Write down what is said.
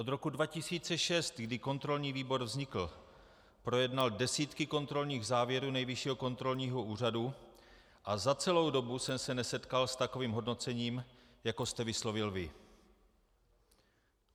Od roku 2006, kdy kontrolní výbor vznikl, projednal desítky kontrolních závěrů Nejvyššího kontrolního úřadu a za celou dobu jsem se nesetkal s takovým hodnocením, jako jste vyslovil vy.